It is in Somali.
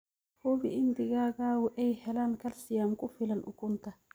Hubi in digaagadu ay helaan kalsiyum ku filan ukunta.